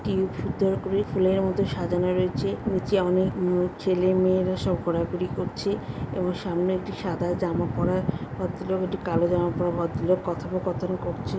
সুন্দর করে ফুলের মতো সাজানো রয়েছে নিচে অনেক উম ছেলে মেয়েরা সব ঘোরাঘুরি করছে এবং সামনে একটি সাদা জামা পরা ভদ্রলোক একটা কালো জামা পরা ভদ্রলোক কথোপকথন করছে।